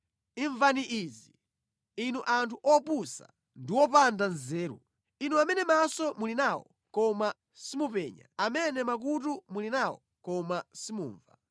Imvani izi, inu anthu opusa ndi opanda nzeru, inu amene maso muli nawo koma simupenya, amene makutu muli nawo koma simumva.